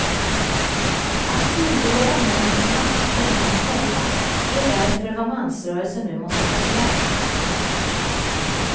Att synliggöra mäns makt för män själva är därför vad mansrörelsen nu måste ta sig an.